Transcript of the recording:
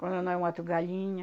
Quando não, eu mato galinha.